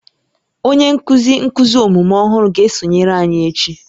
Onye nkuzi nkuzi omume ọhụrụ ga-esonyere anyị echi